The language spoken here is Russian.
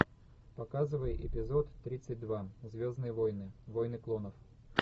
показывай эпизод тридцать два звездные войны войны клонов